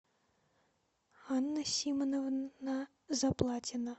анна симоновна заплатина